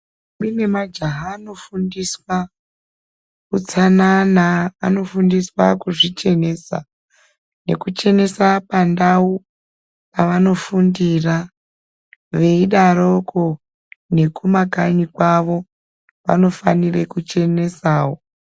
Kune najaha anofundiswa utsanana anofundiswa kuzvichenesa , nekuchenesa pandau paanofundira veidaroko kumakanyi kwavo vanofanira kuchenesawo.